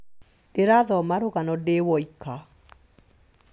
Ndĩrathoma rũgano ndĩ woika